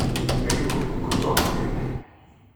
Ne ibu ko tomo kenai.